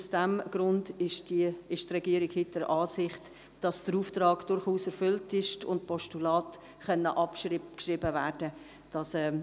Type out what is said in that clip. Aus diesem Grund ist die Regierung heute der Ansicht, dass der Auftrag durchaus erfüllt ist und die Postulate abgeschrieben werden können.